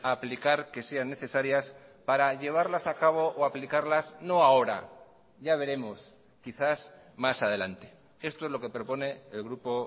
a aplicar que sean necesarias para llevarlas a cabo o aplicarlas no ahora ya veremos quizás más adelante esto es lo que propone el grupo